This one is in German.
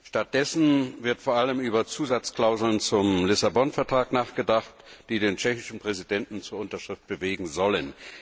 Stattdessen wird vor allem über Zusatzklauseln zum Lissabon Vertrag nachgedacht, die den tschechischen Präsidenten zur Unterschrift bewegen sollen.